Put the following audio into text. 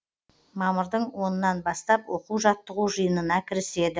мамырдың онынан бастап оқу жаттығу жиынына кіріседі